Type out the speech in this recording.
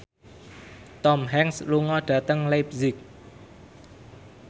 Tom Hanks lunga dhateng leipzig